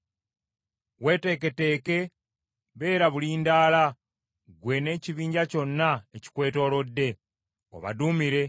“ ‘Weeteeketeeke beera bulindaala ggwe n’ekibinja kyonna ekikwetoolodde; obaduumire.